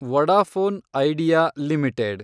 Vodafone Idea limited